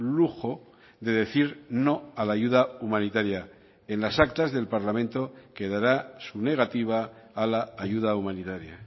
lujo de decir no a la ayuda humanitaria en las actas del parlamento quedará su negativa a la ayuda humanitaria